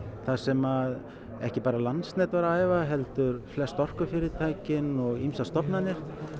þar sem ekki bara Landsnet var að æfa heldur flest orkufyrirtækin og ýmsar stofnanir